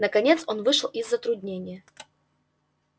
наконец он вышел из затруднения